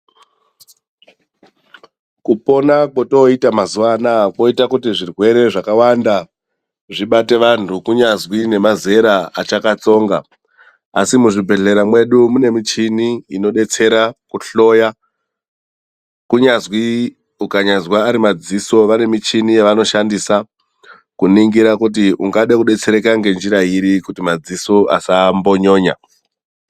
Kupona kwotooita mazuwa anaa koita kuti zvirwere zvakawanda zvibate vantu, kunyazwi nemazera achakatsonga. Asi muzvibhedhlera mwedu mune michini inodetsera kuhloya, kunyazwi ukanyazwa ari madziso. vane michini yevanoshandisa, kuningira kuti ungade kudetsereka ngenjira iri kuti madziso asambonyonya.